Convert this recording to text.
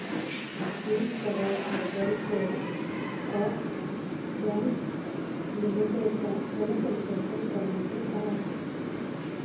दि Karad urban coop bank limited चा जनसंपर्क क्रमांक काय आहे